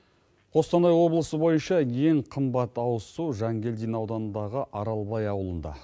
қостанай облысы бойынша ең қымбат ауызсу жангелдин ауданындағы аралбай ауылында